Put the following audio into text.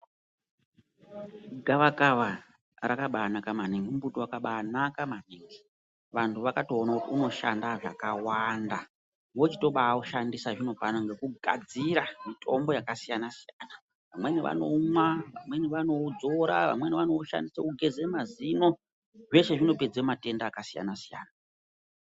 Gavakava rakabaanaka maningi mumbuti wakabaanaka maningi. Vantu vakatoona kuti unoshanda zvakawanda vochitobaaushandisa zvino pano ngekugadzira mitombo yakasiyana-siyana. Vamweni vanoumwa, vamweni vanoudzora, vanweni vanoushandise kugeze mazino, zveshe zvinopedze matenda akasiyana-siyana.